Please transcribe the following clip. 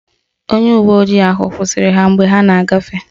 Onye uwe ojii ahụ kwụsịrị ha mgbe ha na-agafe.